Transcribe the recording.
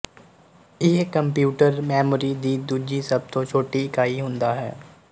ਇਹ computer memory ਦੀ ਦੂਜੀ ਸਭ ਤੋਂ ਛੋਟੀ ਇਕਾਈ ਹੁੰਦਾ ਹੈ